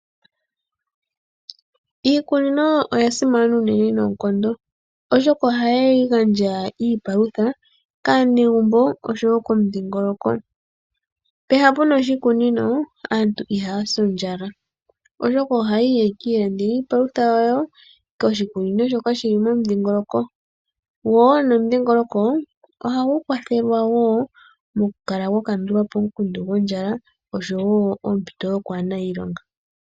Iikunino oya simana unene noonkondo, oshoka ohayi gandja iipalutha kaanegumbo oshowo komudhingoloko. Pehala puna oshikunino aantu ihaya si ondjala, oshoka ohaya yi yaka ilandele iipalutha yawo poshikunino shoka shili momudhingoloko. Gwo nomudhingoloko ohagu kwathelwa wo mokukala gwa kandula po omukundu gondjala, oshowo ompito yokwaana iilonga.